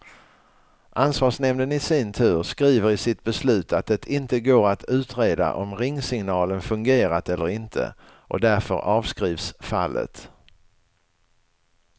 Ansvarsnämnden i sin tur skriver i sitt beslut att det inte går att utreda om ringsignalen fungerat eller inte, och därför avskrivs fallet.